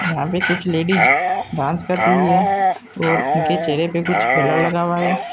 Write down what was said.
यहाँ पे कुछ लेडीज़ डांस कर रही हैं और उनके चेहरे पे कुछ ब्लर लगा हुआ है।